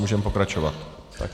Můžeme pokračovat.